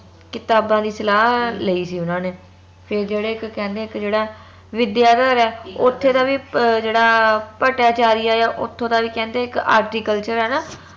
ਕਿਤਾਬਾਂ ਦੀ ਸਲਾਹ ਲਈ ਸੀ ਓਨਾ ਨੇ ਫੇਰ ਜੇਹੜੇ ਇਕ ਕਹਿੰਦੇ ਇਕ ਜੇਹੜਾ ਵਿਦਿਆਧਰ ਹੈ ਓਥੇ ਦਾ ਵੀ ਜਿਹੜਾ ਭੱਟਾਚਾਰੀਆ ਆ ਓਥੋਂ ਦਾ ਵੀ ਇਕ ਕਹਿੰਦੇ horticulture ਆ ਨਾ